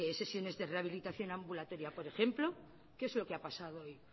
sesiones de rehabilitación ambulatoria por ejemplo qué es lo que ha pasado hoy